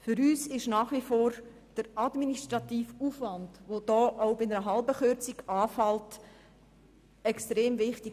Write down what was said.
Für uns ist nach wie vor der administrative Aufwand, der auch bei einer halben Kürzung anfällt, extrem wichtig.